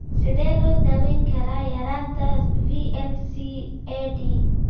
Sidee loo daweyn karaa yaraanta VLCAD?